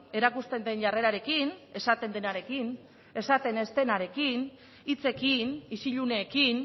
erakusten den jarrerarekin esaten denarekin esaten ez denarekin hitzekin isiluneekin